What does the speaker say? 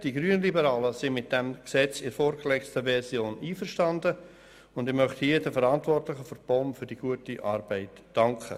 Die Grünliberalen sind mit diesem Gesetz in der vorgelegten Version einverstanden und ich möchte hier den Verantwortlichen der POM für die gute Arbeit danken.